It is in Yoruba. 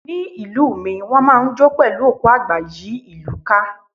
Ní ìlú mi, wón máa ń jó pẹ̀lú òkú àgbà yí ìlú ká.